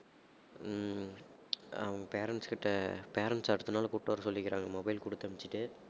ஹம் அவங்க parents கிட்ட parents அடுத்த நாள் கூப்பிட்டு வரச் சொல்லி இருக்காங்க mobile குடுத்து அனுப்பிச்சிட்டு